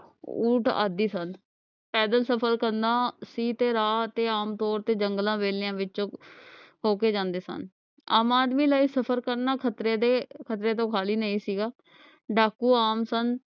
ਉੱਠ ਆਦਿ ਸਨ ਪੈਦਲ ਸਫ਼ਰ ਕਰਨਾ ਸੀ ਤੇ ਰਾਹ ਤੇ ਆਮਤੌਰ ਤੋਂ ਜੰਗਲਾਂ ਵੇਲਿਆਂ ਵਿੱਚੋ ਹੋਕੇ ਜਾਂਦੇ ਸਨ ਆਪ ਆਦਮੀ ਲਈ ਸਫ਼ਰ ਕਰਨਾ ਖਤਰੇ ਦੇ ਖਤਰੇ ਤੋਂ ਖਾਲੀ ਨਹੀਂ ਸੀਗਾ ਡਾਕੂ ਆਮ ਸਨ